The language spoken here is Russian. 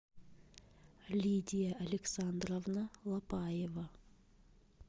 лидия александровна лапаева